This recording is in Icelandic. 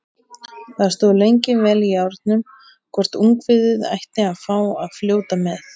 Það stóð lengi vel í járnum hvort ungviðið ætti að fá að fljóta með.